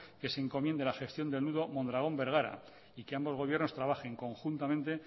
que se encomiende la gestión del nudo mondragón bergara y que ambos gobiernos trabajen conjuntamente